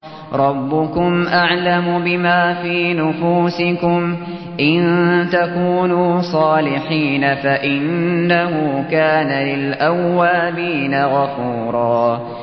رَّبُّكُمْ أَعْلَمُ بِمَا فِي نُفُوسِكُمْ ۚ إِن تَكُونُوا صَالِحِينَ فَإِنَّهُ كَانَ لِلْأَوَّابِينَ غَفُورًا